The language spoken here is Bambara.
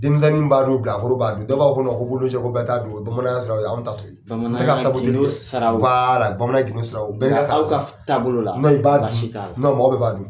Denmisɛnnin b'a dun bilakoro b'a dun dɔw b'a fɔ ko ko bololo sɛ ko bɛɛ t'a dun o ye bamananya siraw ye anw ta t'o ye n tɛ ka saboteli kɛ bamananya gindo siraw bamananya gindo siraw taabolo la i b'a dun baasi t'a la.